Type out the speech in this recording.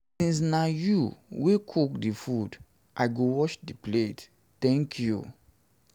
since na you wey cook the food i go wash the plate thank you thank you